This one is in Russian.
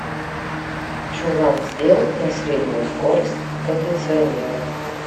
чулан сделать на среднюю скорость кондиционера